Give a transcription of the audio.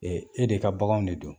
e de ka baganw de don